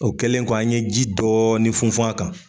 O kɛlen kɔ an ɲe ji dɔɔni funfun a kan.